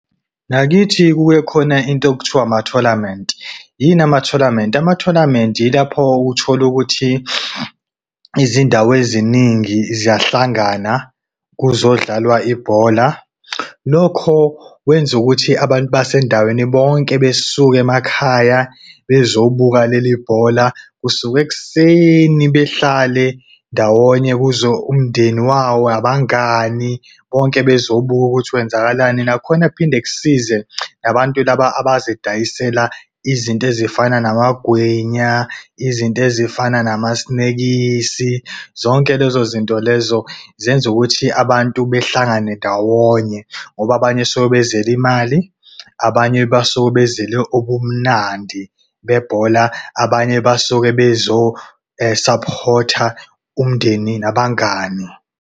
Ngakithi kube khona into okuthiwa ama-tournament. Yini ama-tournament? Ama-tournament yilapho uthole ukuthi izindawo eziningi ziyahlangana kuzodlalwa ibhola. Lokho kwenza ukuthi abantu basendaweni bonke besuke emakhaya bezobuka leli bhola. Kusuka ekuseni behlale ndawonye kuze umndeni wawo, abangani bonke bezobuka ukuthi kwenzakalani. Nakhona kuphinde kusize labantu laba abazidayisela izinto ezifana namagwinya, izinto ezifana namasinekisi, zonke lezo zinto lezo zenza ukuthi abantu behlangane ndawonye. Ngoba abanye suke bezele imali, abanye basuke bezele ubumnandi bebhola, abanye basuke support-a umndeni nabangani.